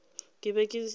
ke be ke tla re